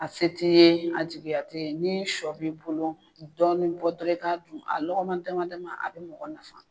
A se te ye, a jigiya t'e ye. Ni sɔ b'i bolo dɔɔnin bɔ dɔrɔn i ka dun, a lɔkɔma damadama a be mɔgɔ nafa.